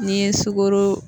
N'i ye sukoro